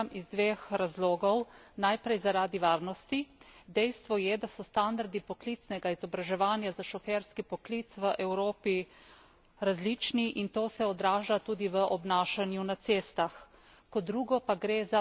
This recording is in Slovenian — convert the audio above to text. Resolucijo pa podpiram iz dveh razlogov najprej zaradi varnosti. Dejstvo je, da so standardi poklicnega izobraževanja za šoferski poklic v Evropi različni in to se odraža tudi v obnašanju na cestah.